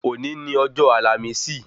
Òní ni ọjọ́ àlàmísì